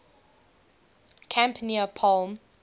camp near palm